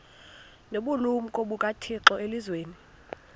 nobulumko bukathixo elizwini